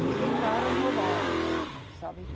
E entraram novatos, sabe?